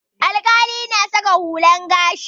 Alƙalai na saka hular gashi.